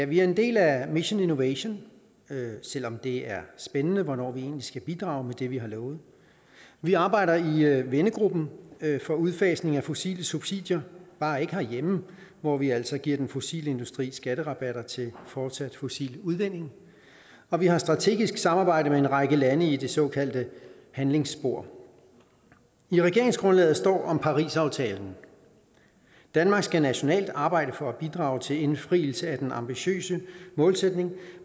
vi er en del af mission innovation selv om det er spændende hvornår vi egentlig skal bidrage med det vi har lovet vi arbejder i vennegruppen for udfasning af fossile subsidier bare ikke herhjemme hvor vi altså giver den fossile industri skatterabatter til fortsat fossil udvinding og vi har strategisk samarbejde med en række lande i det såkaldte handlingsspor i regeringsgrundlaget står om parisaftalen danmark skal nationalt arbejde for at bidrage til indfrielse af den ambitiøse målsætning